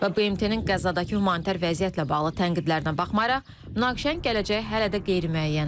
Və BMT-nin Qəzzadakı humanitar vəziyyətlə bağlı tənqidlərə baxmayaraq, münaqişənin gələcəyi hələ də qeyri-müəyyəndir.